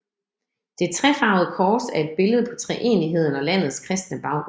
Det trefarvede kors er et billede på treenigheden og landets kristne baggrund